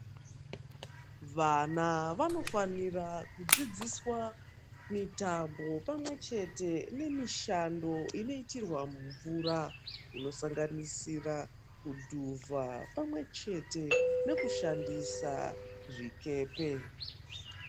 Vana vanofanira kudzidziswa nemitambo pamwechete nemishando inoitirwa mumvura inosanganisira kudhuvha pamwechete nekushandisa zvikepe.